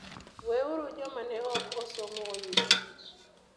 Weuru joma ne ok osomo oyud tich.